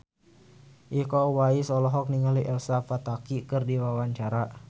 Iko Uwais olohok ningali Elsa Pataky keur diwawancara